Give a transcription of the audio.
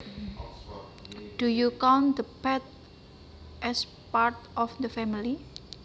Do you count the pet as part of the family